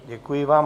Děkuji vám.